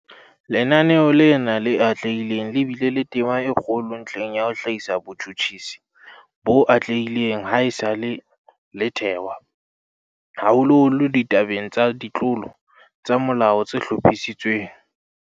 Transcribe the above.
Lenaneo lena le atlehileng le bile le tema e kgolo ntlheng ya ho hlahisa botjhutjhisi bo atlehileng ha esale le thewa, haholoholo ditabeng tsa ditlolo tsa molao tse hlophisitsweng.